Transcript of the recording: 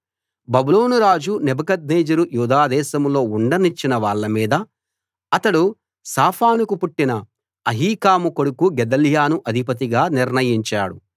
బబులోను రాజు నెబుకద్నెజరు యూదాదేశంలో ఉండనిచ్చిన వాళ్ళమీద అతడు షాఫానుకు పుట్టిన అహీకాము కొడుకు గెదల్యాను అధిపతిగా నిర్ణయించాడు